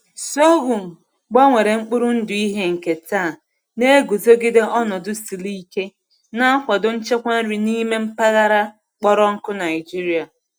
Sorghum gbanwere mkpụrụ ndụ ihe nketa na-eguzogide ọnọdụ siri ike, na-akwado nchekwa nri n’ime mpaghara kpọrọ nkụ Nigeria.